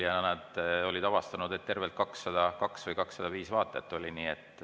Nad olid avastanud, et tervelt 202 või 205 vaatajat oli.